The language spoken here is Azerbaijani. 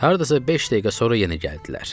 Hardasa beş dəqiqə sonra yenə gəldilər.